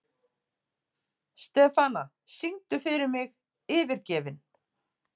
Stefana, syngdu fyrir mig „Yfirgefinn“.